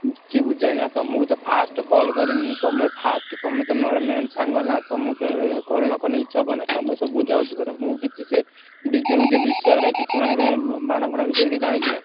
କି~ ଛି~ ବୁଝା ହେଇନି ବା ତମକୁ ବା first call କରିମି ତମେ first ତମେ ତ ମୋର main ସାଙ୍ଗ ନାଁ ତମକୁ call ନ କଲେ କିଛି ହବ ନାଁ ତମେ ସବୁ ବୁଝାବୁଝି କରିବ ମୁଁ ସେ DJ ଫିଜେ ବିଷୟରେ କିଛି ମାନେ ସେ ବାଣ ଫାଣ ବିଷୟ ରେ କିଛି ଜାଣିଛି ନାଁ।